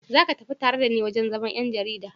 Za ka tafi tare da ni wurin zaman 'yan jarida?